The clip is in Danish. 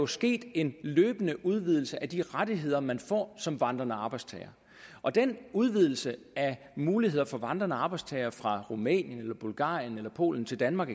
sket en løbende udvidelse af de rettigheder man får som vandrende arbejdstager og den udvidelse af muligheder for vandrende arbejdstagere fra rumænien eller bulgarien eller polen til danmark